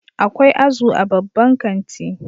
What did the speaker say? Akwai azu a babban kanti